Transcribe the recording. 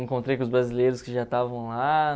Encontrei com os brasileiros que já estavam lá.